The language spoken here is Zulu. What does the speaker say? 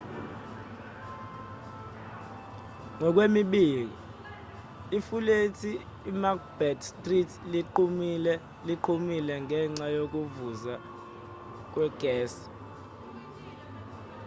ngokwemibiko ifulethi emacbeth street liqhumile ngenxa yokuvuza kwegesi